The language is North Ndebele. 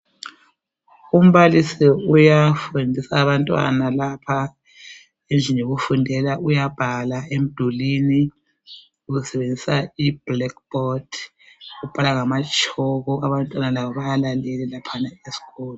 Umbalisi uyafundisa abantwana lapha endlini yokufundela, uyabhala emdulini usebenzisa ibhulekhi bhodi, ubhala ngamatshoko abantwana labo bayalalela.